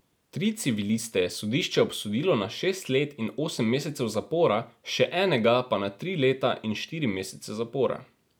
Tri civiliste je sodišče obsodilo na šest let in osem mesecev zapora, še enega pa na tri leta in štiri mesece zapora.